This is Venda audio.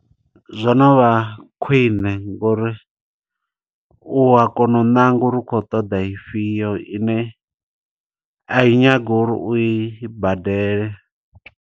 Zwo no vha khwiṋe ngo uri, u ya kona u ṋanga uri u kho ṱoḓa i fhio, ine a i nyagi uri u i badele.